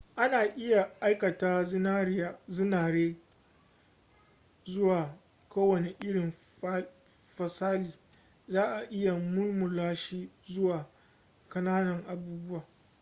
ana iya aikata zinare zuwa kowane irin fasali za'a iya mulmula shi zuwa ƙananan abubuwa